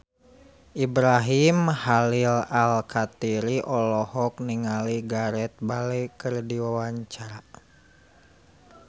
Ibrahim Khalil Alkatiri olohok ningali Gareth Bale keur diwawancara